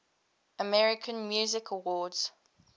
american music awards